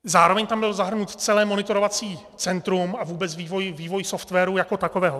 Zároveň tam bylo zahrnuto celé monitorovací centrum a vůbec vývoj softwaru jako takového.